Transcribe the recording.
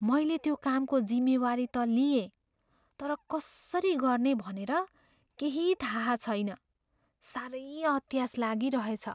मैले त्यो कामको जिम्मेवारी त लिएँ, तर कसरी गर्ने भनेर केही थाहा छैन। साह्रै अत्यास लागिरहेछ।